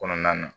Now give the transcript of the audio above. Kɔnɔna na